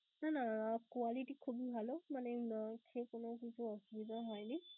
না না quality খুবই ভালো. মানে খেয়ে কোন অসুস্থ অসুবিধা হয়নি.